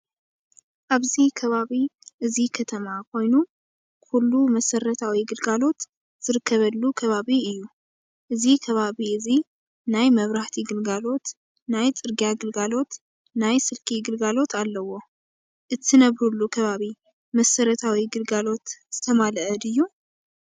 ኣብዚ ከባቢ እዚ ከተማ ኮይኑ ኩሉ መሰረታል ግልጋሎት ዝርከበሉ ከባቢ እዩ እዚ ከባቢ እዚ ናይ መብራህቲ ግልጋሎት ፣ ናይ ፅርግያ ግልጋሎት ናይ ስልኪ ግልጋሎት ኣለዎ። እትነብርሉ ከባቢ መሰረታዊ ግልጋሎት ዝተማለኣ ድዩ ?